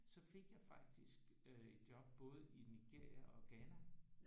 Så fik jeg faktisk øh et job både i Nigeria og Ghana